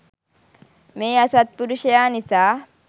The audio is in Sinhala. මේ අසත්පුරුෂයා නිසා